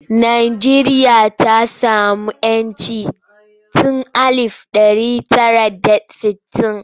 Najeriya ta sami 'yancin tun alif ɗari tara da sittin.